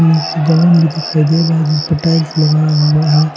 नीचे जमीन भी दिखाई दे रहा है जिसपे टाईल्स लगाया हुआ है।